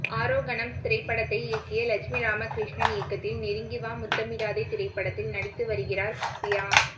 ஆரோகணம் திரைப்படத்தை இயக்கிய லக்ஷ்மி ராமகிருஷ்ணன் இயக்கத்தில் நெருங்கி வா முத்தமிடாதே திரைப்படத்தில் நடித்து வருகிறார் பியா